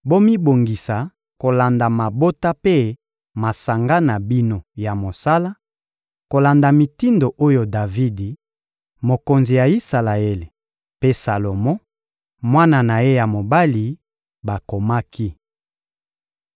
Bomibongisa kolanda mabota mpe masanga na bino ya mosala, kolanda mitindo oyo Davidi, mokonzi ya Isalaele, mpe Salomo, mwana na ye ya mobali, bakomaki.